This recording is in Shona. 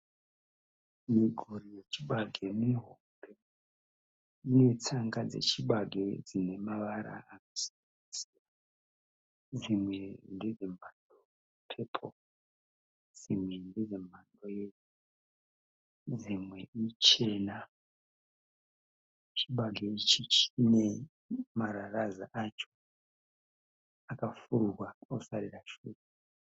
Miguri yechibage mihombe. Ine tsanga dzechibage dzinemavara akasiyana-siyana. Dzimwe ndedze pepuru, dzimwe ndedzemhando yeyero dzimwe ichena. Chibage ichi chine marararaza acho akafururwa osarira shure.